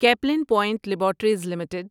Kaplan point laboratories limited